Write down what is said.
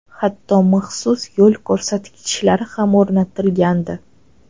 Hatto maxsus yo‘l ko‘rsatkichlar ham o‘rnatilgandi.